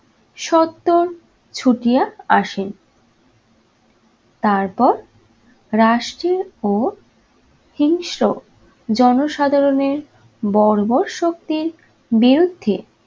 সত্তর ছুটিয়া আসেন। তারপর ও হিংস্র জনসাধারণের বর্বর শক্তির বিরুদ্ধে